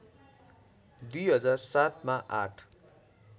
२००७ मा आठ